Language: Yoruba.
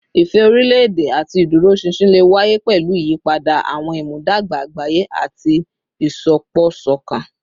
Ìfẹ́ orílẹ̀-èdè àti ìdúróṣinṣin lè wáyé pẹ̀lú ìyípadà àwọn ìmúdàgba àgbáyé àti ìsopọ̀ṣọ̀kan